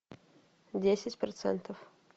десять процентов